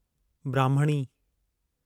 ब्राह्मणी